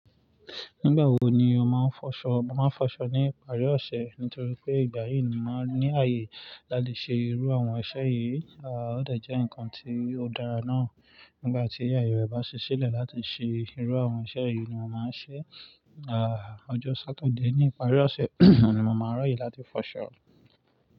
Nígbà wo ni o máa ń fọṣọ? Mo máa ń fọṣọ ní ìparí ọ̀sẹ̀ nítorí pé ìgbà yìí ni mo máa ń ní ààyè láti ṣe irú àwọn iṣẹ́ yìí. Ó dà jẹ́ nǹkan tí ó dára náà nígbà tí ààyè rẹ bá ṣiṣẹ́lẹ̀ láti ṣe irú àwọn iṣẹ́ yìí ni mo máa ń ṣe. Ọjọ́ Sátidé ní ìparí ọ̀sẹ̀ ni mo máa ra ye láti fọṣọ.